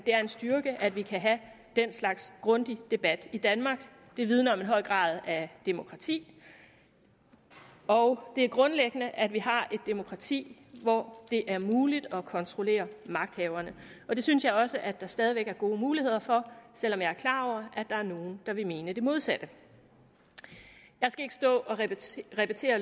er en styrke at vi kan have den slags grundig debat i danmark det vidner om en høj grad af demokrati og det er grundlæggende at vi har et demokrati hvor det er muligt at kontrollere magthaverne det synes jeg også at der stadig væk er gode muligheder for selv om jeg er klar over at der er nogle der vil mene det modsatte jeg skal ikke stå og repetere